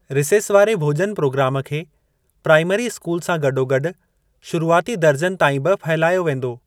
Recess वारे भोॼन programme खे प्राईमरी स्कूल सां गॾोगॾु शुरूआती दर्जनि ताईं बि फहिलायो वेंदो।